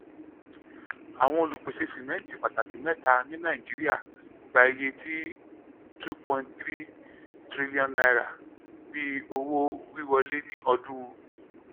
awọn olupese simẹnti pataki mẹta ni naijiria gba iye ti n2.35 trillion bi owo-wiwọle ni ọdun